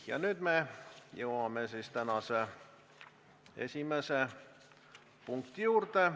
Nüüd me jõuame tänase esimese punkti juurde.